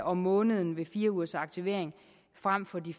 om måneden ved fire ugers aktivering frem for de